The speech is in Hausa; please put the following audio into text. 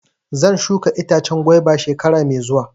Zan shuka itacen gwaiba shekara mai zuwa.